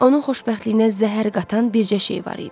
Onun xoşbəxtliyinə zəhər qatan bircə şey var idi.